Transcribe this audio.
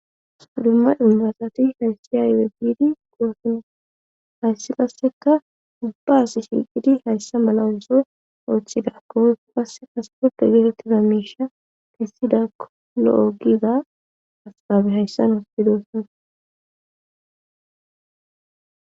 Dumma indasati hayssi yayuwe biidi goossino hayssi qasseka ubbaas shiiqidi hayssa malawuyso ooththida koeso qasse asporpe geetettida miisha kissida ko lo7o giza askabe hayssa nos didossana